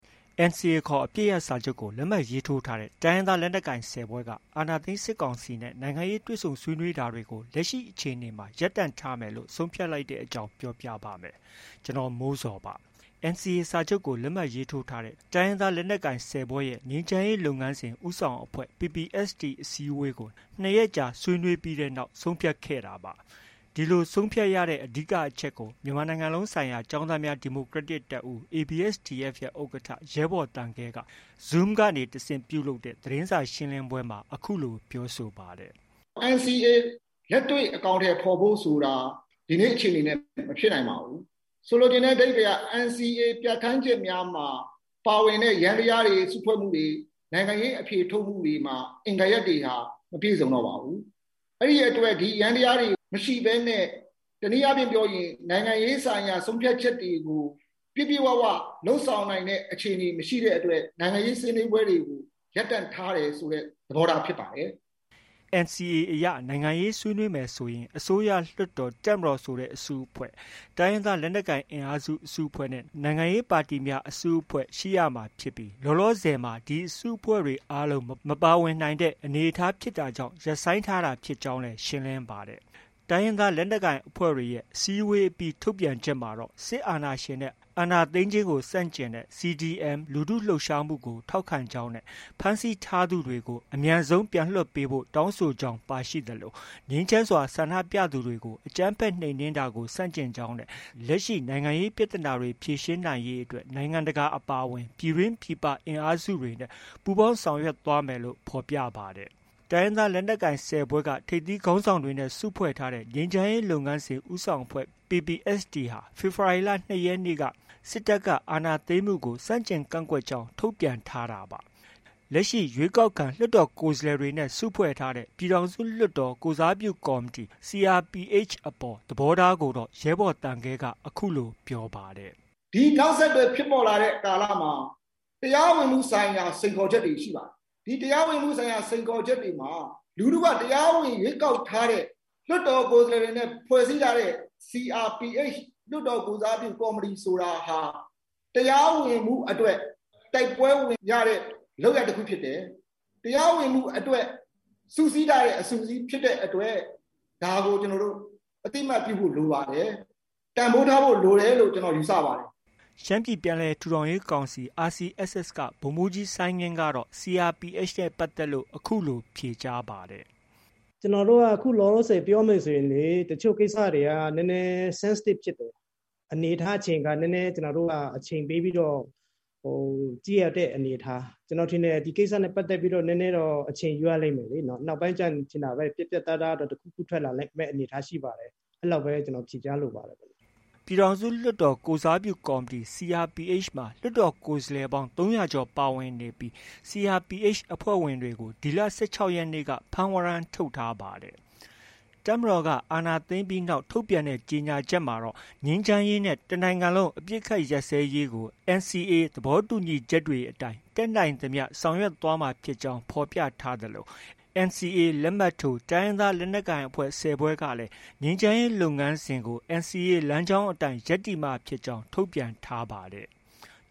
NCA ခေါ် အပစ်ရပ်စာချုပ်ကို လက်မှတ်ရေးထိုးထားတဲ့ တိုင်းရင်းသားလက်နက်ကိုင် ၁၀ ဖွဲ့က အာဏာသိမ်းစစ်ကောင်စီနဲ့ နိုင်ငံရေး တွေ့ဆုံဆွေးနွေးတာတွေကို လက်ရှိအခြေအနေမှာ ရပ်တန့်ထားမယ်လို့ ဆုံးဖြတ်လိုက်ပါတယ်။ အပြည့်အစုံကို ကိုမိုးဇော် စုစည်းတင်ပြထားပါတယ်။ NCA စာချုပ်ကို လက်မှတ်ရေးထိုးထားတဲ့ တိုင်းရင်းသားလက်နက်ကိုင် ၁၀ ဖွဲ့ရဲ့ ငြိမ်းချမ်းရေးလုပ်ငန်းစဉ် ဦးဆောင်အဖွဲ့ PPST အစည်းအဝေးကို ၂ ရက်ကြာ ဆွေးနွေးပြီးတဲ့နောက် ဆုံးဖြတ်ခဲ့တာပါ။ ဒီလိုဆုံးဖြတ်ရတဲ့ အဓိကအချက်ကို မြန်မာနိုင်ငံလုံးဆိုင်ရာ ကျောင်းသားများ ဒီမိုကရက်တစ်တပ်ဦး (ABSDF) ရဲ့ ဥက္ကဋ္ဌ ရဲဘော်သံခဲက Zoom ကနေတဆင့် ပြုလုပ်တဲ့ သတင်းစာရှင်းလင်းပွဲမှာ အခုလို ပြောဆိုပါတယ်။ “NCA လက်တွေ့အကောင်အထည်ဖော်ဖို့ဆိုတာ ဒီနေ့အခြေအနေနဲ့ မဖြစ်နိုင်ပါဘူး။ ဆိုလိုချင်တဲ့ အဓိပ္ပာယ်က NCA ပြဋ္ဌာန်းချက်များမှာ ပါဝင်တဲ့ ယန္တရားတွေ၊ စုဖွဲ့မှုတွေ၊ နိုင်ငံရေး အဖြေထုတ်မှုတွေမှာ အင်္ဂါရပ်တွေ မပြည့်စုံတော့ပါဘူး။ အဲဒီအတွက် ဒီယန္တရားတွေ မရှိဘဲနဲ့၊ တနည်းအားဖြင့်ပြောရင် နိုင်ငံရေးဆိုင်ရာ ဆုံးဖြတ်ချက်တွေကို ပြည့်ပြည့်ဝဝ လုပ်ဆောင်နိုင်တဲ့ အခြေအနေ မရှိတဲ့အတွက် နိုင်ငံရေးဆွေးနွေးပွဲတွေကို ရပ်တန့်ထားတယ်ဆိုတဲ့ သဘောထား ဖြစ်ပါတယ်။” NCA အရ နိုင်ငံရေးဆွေးနွေးမယ်ဆိုရင် အစိုးရ၊ လွှတ်တော်၊ တပ်မတော်ဆိုတဲ့ အစုအဖွဲ့၊ တိုင်းရင်းသားလက်နက်ကိုင် အစုအဖွဲ့နဲ့ နိုင်ငံရေးပါတီများ အစုအဖွဲ့ ရှိရမှာဖြစ်ပြီး လောလောဆယ်မှာ ဒီအစုအဖွဲ့တွေ အားလုံး မပါဝင်နိုင်တဲ့ အနေအထား ဖြစ်တာကြောင့် ရပ်ဆိုင်းထားတာ ဖြစ်ကြောင်းလည်း ရှင်းလင်းပါတယ်။ တိုင်းရင်းသားလက်နက်ကိုင် အဖွဲ့တွေရဲ့ အစည်းအဝေးအပြီး ထုတ်ပြန်ချက်မှာတော့ စစ်အာဏာရှင်နဲ့ စစ်အာဏာသိမ်းခြင်းကို ဆန့်ကျင်တဲ့ CDM လူထုလှုပ်ရှားမှုတွေကို ထောက်ခံကြောင်းနဲ့ ဖမ်းဆီးထားသူတွေကို အမြန်ဆုံးပြန်လွှတ်ဖို့ တောင်းဆိုကြောင်း ပါရှိသလို ငြိမ်းချမ်းစွာ ဆန္ဒပြသူတွေကို အကြမ်းဖက် နှိမ်နင်းတာကို ဆန့်ကျင်ကြောင်းနဲ့ လက်ရှိ နိုင်ငံရေးပြဿနာတွေ ဖြေရှင်းနိုင်ရေးအတွက် နိုင်ငံတကာ အပါအဝင် ပြည်တွင်း ပြည်ပ အင်အားစုတွေနဲ့ ပူးပေါင်းဆောင်ရွက်မယ်လို့ ဖော်ပြထားပါတယ်။ တိုင်းရင်းသားလက်နက်ကိုင် ၁၀ ဖွဲ့က ထိပ်သီးခေါင်းဆောင်တွေနဲ့ စုဖွဲ့ထားတဲ့ ငြိမ်းချမ်းရေးလုပ်ငန်းစဉ် ဦးဆောင်အဖွဲ့ PPST အဖွဲ့ဟာ ဖေဖော်ဝါရီလ ၂ ရက်ကနေ့က စစ်တပ်က အာဏာသိမ်းမှုကို ဆန့်ကျင်ကန့်ကွက်ကြောင်း ထုတ်ပြန်ထားတာပါ။ လက်ရှိ ရွေးကောက်ခံ လွှတ်တော်ကိုယ်စားလှယ်တွေနဲ့ စုဖွဲ့ထားတဲ့ ပြည်ထောင်စုလွှတ်တော် ကိုယ်စားပြုကော်မတီ (CRPH) အပေါ် သဘောထားကိုတော့ ရဲဘော်သံခဲက အခုလို ပြောပါတယ်။ “ဒီနောက်ဆက်တွဲ ဖြစ်ပေါ်လာတဲ့ ကာလမှာ တရားဝင်မှုဆိုင်ရာ စိန်ခေါ်ချက်တွေမှာ လူထုက တရားဝင် ရွေးကောက်ထားတဲ့ လွှတ်တော်ကိုယ်စားလှယ်တွေနဲ့ ဖွဲ့စည်းထားတဲ့ CRPH လွှတ်တော်ကိုယ်စားပြု ကော်မတီဆိုတာ တရားဝင်မှုအတွက် တိုက်ပွဲဝင်ရတဲ့ လုပ်ရပ်တခုဖြစ်တယ်။ တရားဝင်မှုအတွက် စုစည်းထားတဲ့ အစုအစည်း ဖြစ်တဲ့အတွက် အသိအမှတ်ပြုဖို့ လိုပါတယ်။ တန်ဖိုးထားဖို့ လိုတယ်လို့ ယူဆပါတယ်။” ရှမ်းပြည်ပြန်လည်ထူထောင်ရေးကောင်စီ (RCSS) က ဗိုလ်မှူးကြီး စိုင်းငင်းကတော့ CRPH နဲ့ပတ်သက်ပြီး အခုလို ဖြေကြားပါတယ်။ “ကျနော်တို့က အခုလောလောဆယ် ပြောမယ်ဆိုရင် တချို့ကိစ္စတွေက နည်းနည်း Sensative (ထိလွယ်ရှလွယ်) ဖြစ်တယ်။ အနေအထား အချိန်အခါ နည်းနည်း ကျနော်တို့က အချိန်ပေးပြီးတော့ ကြည့်ရတဲ့ အနေအထား။ ကျနော်ထင်တယ် ဒီကိစ္စနဲ့ ပတ်သက်ပြီးတော့ နည်းနည်းတော့ အချိန်ယူရလိမ့်မယ်လေ။ နောက်ပိုင်းကျရင် ကျနော်တို့ ပြတ်ပြတ်သားသား တခုခုထွက်လာမယ့် အနေအထား ရှိပါတယ်။ အဲလောက်ပဲ ကျနော် ဖြေကြားလိုပါတယ်။” ပြည်ထောင်စုလွှတ်တော် ကိုယ်စားပြုကော်မတီ (CRPH) မှာ လွှတ်တော်ကိုယ်စားလှယ်ပေါင်း ၃၀၀ ကျော် ပါဝင်နေပြီး CRPH အဖွဲ့ဝင်တွေကို ဒီလ ၁၆ ရက်နေ့က ဖမ်းဝရမ်း ထုတ်ထားပါတယ်။ တပ်မတော်က အာဏာသိမ်းပြီးနောက် ထုတ်ပြန်ခဲ့တဲ့ ကြေညာချက်မှာတော့ ငြိမ်းချမ်းရေးနဲ့ တနိုင်ငံလုံး အပစ်အခတ်ရပ်စဲရေး NCA သဘောတူညီချက်တွေအတိုင်း တတ်နိုင်သမျှ ဆောင်ရွက်သွားမှာဖြစ်ကြောင်း ဖော်ပြထားသလို NCA လက်မှတ်ထိုး တိုင်းရင်းသားလက်နက်ကိုင် ၁၀ ဖွဲ့ကလည်း ငြိမ်းချမ်းရေးလုပ်ငန်းစဉ်ကို NCA လမ်းကြောင်းအတိုင်း ရပ်တည်မှာဖြစ်ကြောင်း ထုတ်ပြန်ထားပါတယ်။